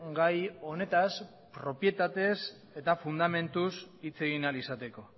gai honetaz propietatez eta fundamentuz hitz egin ahal izateko